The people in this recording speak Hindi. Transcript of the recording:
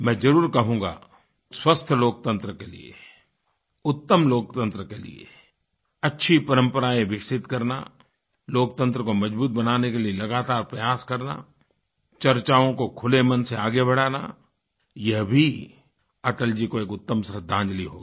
मैं जरुर कहूँगा स्वस्थ लोकतंत्र के लिए उत्तम लोकतंत्र के लिए अच्छी परम्पराएं विकसित करना लोकतंत्र को मजबूत बनाने के लिए लगातार प्रयास करना चर्चाओं को खुले मन से आगे बढ़ाना यह भी अटल जी को एक उत्तम श्रद्धांजलि होगी